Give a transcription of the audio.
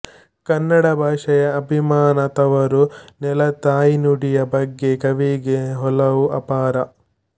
ಕನ್ನಡ ಭಾಷೆಯ ಅಭಿಮಾನ ತವರು ನೆಲ ತಾಯಿನುಡಿಯ ಬಗ್ಗೆ ಕವಿಗೆ ಒಲವು ಅಪಾರ